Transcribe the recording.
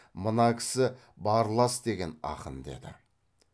мына кісі барлас деген ақын деді